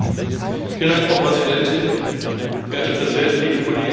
Frau Präsidentin, verehrte Präsidenten, liebe Kolleginnen und Kollegen!